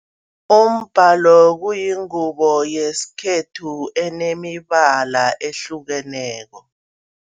Umbalo kuyingubo yesikhethu enemibala ehlukeneko.